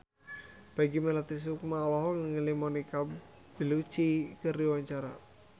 Peggy Melati Sukma olohok ningali Monica Belluci keur diwawancara